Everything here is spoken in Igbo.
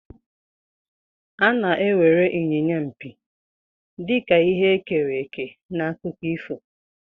A na-ewere Inyinya mpi dị ka ihe e kere eke n'akụkọ ifo.